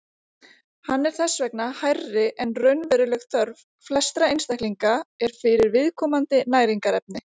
Hann er þess vegna hærri en raunveruleg þörf flestra einstaklinga er fyrir viðkomandi næringarefni.